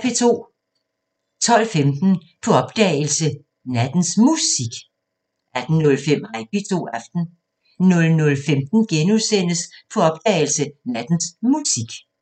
12:15: På opdagelse – Nattens Musik 18:05: Hej P2 – Aften 00:15: På opdagelse – Nattens Musik *